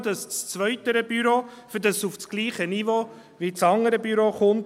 Nur muss das zweite Büro effizienter sein, damit es auf dasselbe Niveau wie das andere Büro kommt.